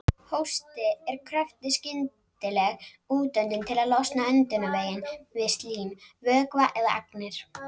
Hósti er kröftug skyndileg útöndun til að losa öndunarveginn við slím, vökva eða agnir.